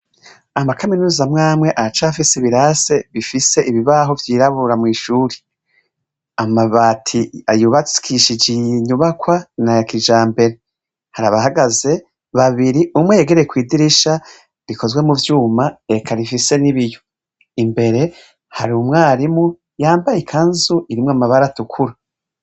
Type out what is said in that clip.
Amakaminuza amwe amwe aracafise ibirase bifise ibibaho vyirabura mwishure, amabati yubakishije iyi nyubakwa nayakijambere, harabahagaze babiri umwe yegereye kwidirisha rikozwe muvyuma eka rifise nibiyo, imbere harumwarimu yambaye ikanzu irimwo amabara atukura.